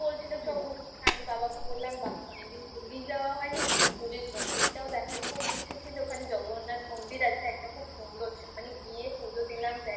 তো বলছিল চো ঘুরতে চল. আমি বাবাকে বললাম অনেক দিন পুরী যাওয়া হয়নি. পুরীর মন্দিরটাও দেখার খুব ইচ্ছে ছিল ওখানে জগন্নাথ মন্দির আছে একটা খুব সুন্দর. মানে গিয়ে পুজো দিলাম